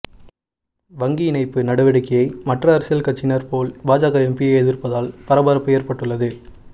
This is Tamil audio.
வங்கி இணைப்பு நடவடிக்கையை மற்ற அரசியல் கட்சியினர் போல் பாஜக எம்பியே எதிர்ப்பதால் பரபரப்பு ஏற்பட்டுள்ளது